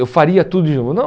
Eu faria tudo de novo. Não